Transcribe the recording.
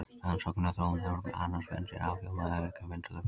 Rannsóknir á þróun höfrunga og annarra spendýra afhjúpa að auki undarlegt mynstur.